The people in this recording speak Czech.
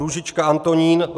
Růžička Antonín